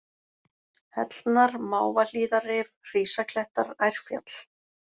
Hellnar, Mávahlíðarrif, Hrísaklettar, Ærfjall